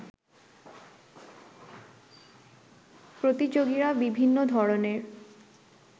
প্রতিযোগীরা বিভিন্ন ধরনের